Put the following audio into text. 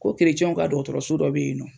Ko kerecɛbw ka dɔgɔtɔrɔso dɔ be yen nɔ